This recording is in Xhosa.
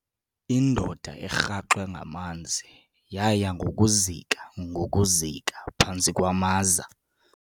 Indoda erhaxwe ngamanzi yaya ngokuzika ngokuzika phantsi kwamaza.